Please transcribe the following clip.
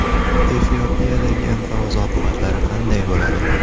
Efiopiyadagi inqiroz oqibatlari qanday bo‘ladi?